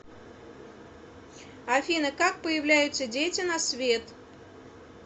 афина как появляются дети на свет